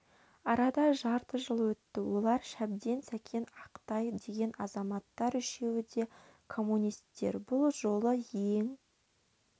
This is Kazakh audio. арада жарты жыл өтті олар шәбден сәкен ақтай деген азамттар үшеуі де коммунистер бұл жолы ең